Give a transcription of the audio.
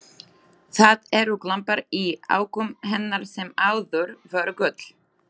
Það eru glampar í augum hennar sem áður voru gul.